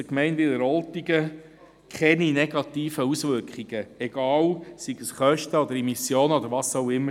Der Gemeinde Wileroltigen dürfen keine negativen Auswirkungen erwachsen, seien es Kosten, Emissionen oder was auch immer.